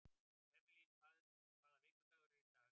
Evelyn, hvaða vikudagur er í dag?